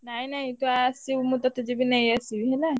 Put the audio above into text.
ନାଇଁ ନାଇଁ ତୁ ଆସିବୁ ମୁଁ ତତେ ଯିବି ନେଇଆସିବି ହେଲା।